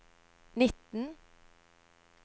nitten